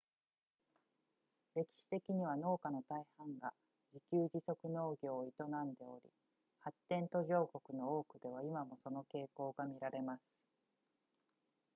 歴史的には農家の大半が自給自足農業を営んでおり発展途上国の多くでは今もその傾向が見られます